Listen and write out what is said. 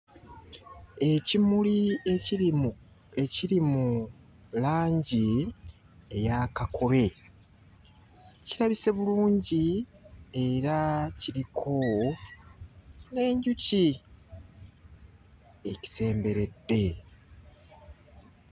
Ekimuli ekiri mu ekiri mu langi eya kakobe kirabise bulungi era kiriko n'enjuki ekisemberedde.